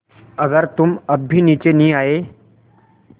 अगर तुम अब भी नीचे नहीं आये